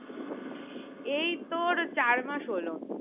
এই তোর চার মাস হলো